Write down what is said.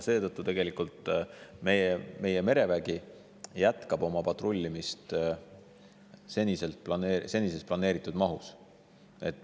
Seetõttu tegelikult meie merevägi jätkab oma patrullimist senises planeeritud mahus.